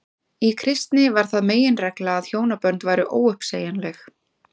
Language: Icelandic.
í kristni varð það meginregla að hjónabönd væru óuppsegjanleg